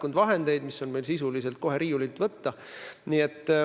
Need projektid on meil sisuliselt kohe riiulilt võtta.